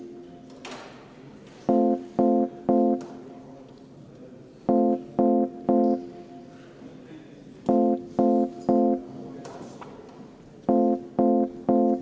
23. muudatusettepanek on Eesti Vabaerakonna fraktsioonilt, juhtivkomisjoni otsus on jätta see arvestamata.